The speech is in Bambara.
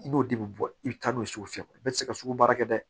I b'o de bɛ bɔ i bɛ taa n'o ye sugu fiyɛ bɛɛ tɛ se ka sugu baara kɛ dɛ